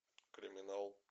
криминал